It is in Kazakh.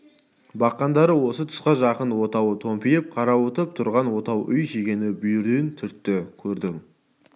баққандары осы тұсқа жақын отауы томпиып қарауытып тұрған отау үй шегені бүйірден түртті көрдің